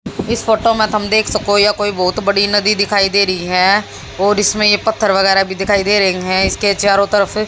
इस फोटो में तम देख सकोय यह कोई बहोत बड़ी नदी दिखाई दे रही है और इसमें ये पत्थर वगैर भी दिखाई दे रहे है इसके चारों तरफ--